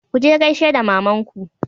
ku je gaishe da mamanku!